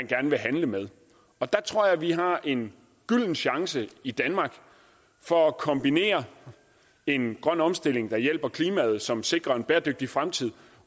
gerne vil handle med der tror jeg at vi har en gylden chance i danmark for at kombinere en grøn omstilling der hjælper klimaet og som sikrer en bæredygtig fremtid